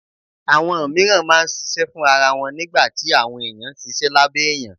Àwọn mìíràn máa ń ṣiṣẹ́ fún ara wọn nígbà tí àwọn èèyàn ṣiṣẹ́ lábẹ́ èèyàn